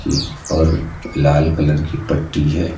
और लाल कलर की पट्टी है।